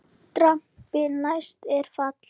Drambi næst er fall.